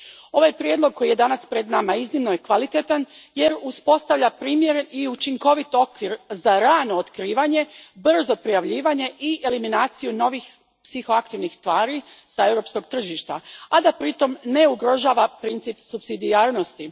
Ovaj prijedlog koji je danas pred nama iznimno je kvalitetan jer uspostavlja primjeren i učinkovit okvir za rano otkrivanje, brzo prijavljivanje i eliminaciju novih psihoaktivnih tvari s europskog tržišta, a da pri tom ne ugrožava princip supsidijarnosti.